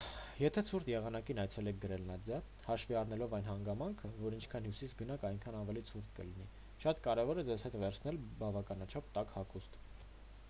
եթե ցուրտ եղանակին այցելեք գրենլանդիա հաշվի առնելով այն հանգամանքը որ ինչքան հյուսիս գնաք այնքան ավելի ցուրտ կլինի շատ կարևոր է ձեզ հետ վերցնել բավականաչափ տաք հագուստ: